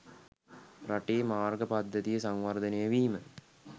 රටේ මාර්ග පද්ධතිය සංවර්ධනය වීම